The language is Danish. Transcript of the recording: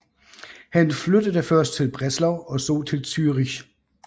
Han flyttede først til Breslau og så til Zürich